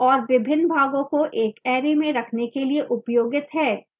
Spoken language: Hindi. और विभिन्न भागों को एक array में रखने के लिए उपयोगित है